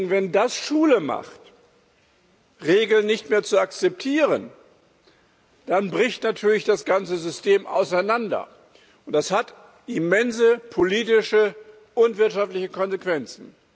Wenn das Schule macht, Regeln nicht mehr zu akzeptieren, dann bricht natürlich das ganze System auseinander, und das hat immense politische und wirtschaftliche Konsequenzen.